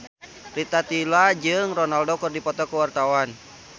Rita Tila jeung Ronaldo keur dipoto ku wartawan